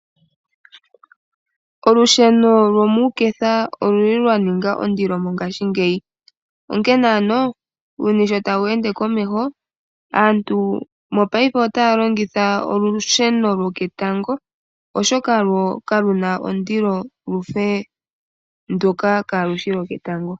Olusheno lomuuketha okuli lwaninga ondilo mongaashingeyi onkene ano uuyuni sho tawu ende tawu humu komeho aantu otaya longitha olusheno lwo ketango oshoka lo kaluna ondilo lwafa ndoka kaalushi lwoketango.